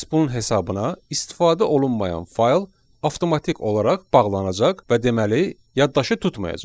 Məhz bunun hesabına istifadə olunmayan fayl avtomatik olaraq bağlanacaq və deməli yaddaşı tutmayacaq.